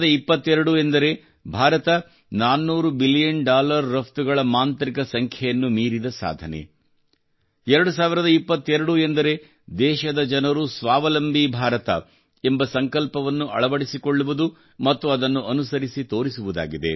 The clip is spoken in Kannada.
2022 ಎಂದರೆ ಭಾರತವು 400 ಬಿಲಿಯನ್ ಡಾಲರ್ ರಫ್ತುಗಳ ಮಾಂತ್ರಿಕ ಸಂಖ್ಯೆಯನ್ನು ಮೀರಿದ ಸಾಧನೆ 2022 ಎಂದರೆ ದೇಶದ ಜನರು ಸ್ವಾವಲಂಬಿ ಭಾರತ ಎಂಬ ಸಂಕಲ್ಪವನ್ನು ಅಳವಡಿಸಿಕೊಳ್ಳುವುದು ಮತ್ತು ಅದನ್ನು ಅನುಸರಿಸಿ ತೋರಿಸುವುದಾಗಿದೆ